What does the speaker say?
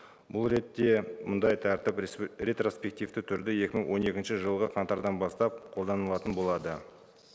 бұл ретте мұндай тәртіп ретроспективті түрде екі мың он екінші жылғы қаңтардан бастап қолданылатын болады